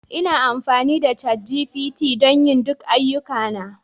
Ina amfani da ChatGPT don yin duk ayyukana